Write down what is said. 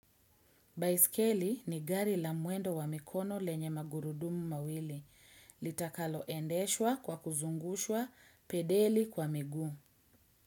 Baiskeli ni gari la mwendo wa mikono lenye magurudumu mawili. Litakalo endeshwa kwa kuzungushwa pedeli kwa miguu.